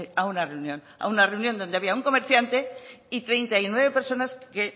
a una reunión a una reunión donde había un comerciante y treinta y nueve personas que